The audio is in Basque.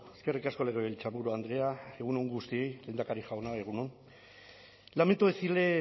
eskerrik asko legebiltzarburu andrea egun on guztioi lehendakari jauna egun on lamento decirle